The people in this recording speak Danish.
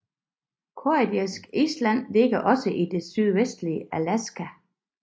Kodiak Island ligger også i det sydvestlige Alaska